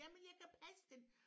Jamen jeg kan passe den